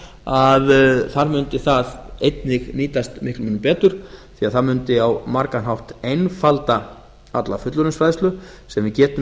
að þar mundi það einnig nýtast miklum mun betur því að það mundi á margan hátt einfalda alla fullorðinsfræðslu sem við getum í raun